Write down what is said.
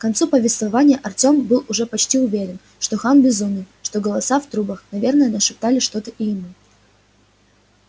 к концу повествования артем был почти уже уверен что хан безумен что голоса в трубах наверное нашептали что-то и ему